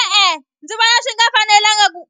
E-e ndzi vona swi nga fanelanga ku